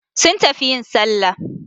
Sun tafi yin Sallah